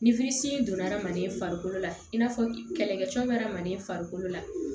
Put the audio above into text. Ni donna hadamaden farikolo la i n'a fɔ kɛlɛkɛcɛ bɛ hadamaden farikolo la